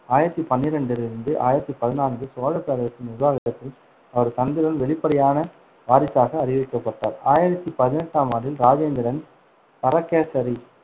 ஆயிரத்தி பன்னிரெண்டிலிருந்து ஆயிரத்தி பதினான்கு சோழப் பேரரசின் நிர்வாகத்திற்கு அவரது தந்தையுடன் வெளிப்படையான வாரிசாக அறிவிக்கப்பட்டார். ஆயிரத்தி பதினெட்டாம் ஆண்டில், ராஜேந்திரன் பரகேசரி